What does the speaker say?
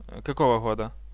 какого года